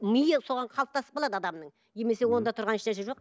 миы соған қалыптасып қалады адамның немесе онда тұрған ешнәрсе жоқ